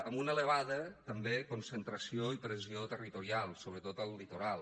amb una elevada també concentració i pressió territorial sobretot al litoral